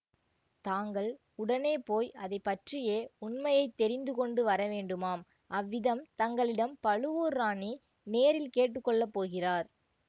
தாங்கள் உடனே போய் அதைப்பற்றியே உண்மையை தெரிந்துகொண்டு வரவேண்டுமாம் அவ்விதம் தங்களிடம் பழுவூர் ராணி நேரில் கேட்டு கொள்ள போகிறார்